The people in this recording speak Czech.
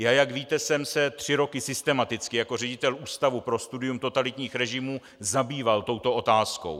Já, jak víte, jsem se tři roky systematicky jako ředitel Ústavu pro studium totalitních režimů zabýval touto otázkou.